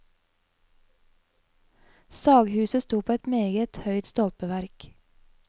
Saghuset sto på et meget høyt stolpeverk.